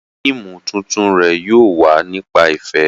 Fíìmù tuntun rẹ̀ yóò wà nípa ìfẹ́